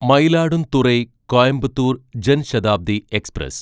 Mayiladuthurai Coimbatore Jan Shatabdi express